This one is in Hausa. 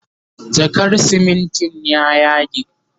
jakar simintin ya yage